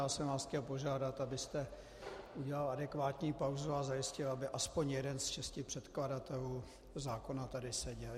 Já jsem vás chtěl požádat, abyste udělal adekvátní pauzu a zajistil, aby aspoň jeden z šesti předkladatelů zákona tady seděl.